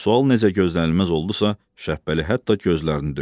Sual necə gözlənilməz oldusa, Şəbpəli hətta gözlərini döydü.